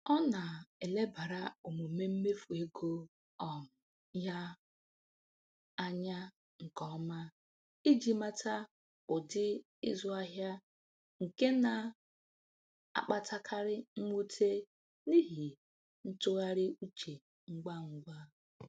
Ọ na-elebara omume mmefu ego um ya anya nke ọma iji mata ụdị ịzụ ahịa nke na-akpatakarị mwute n’ihi ntụgharị uche ngwa ngwa.